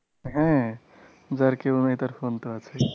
হ্যা যার কেউ নেই তার phone তো আছেই